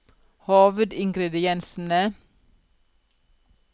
hovedingrediensene